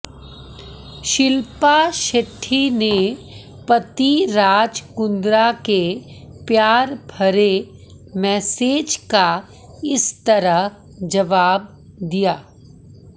शिल्पा शेट्टी ने पति राज़ कुंद्रा के प्यार भरे मेसेज़ का इस तरह दिया जवाब